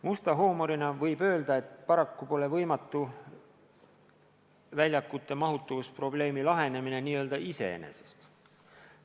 Musta huumorina võib öelda, et paraku pole võimatu, et väljakute mahutavusprobleem laheneb n-ö iseenesest.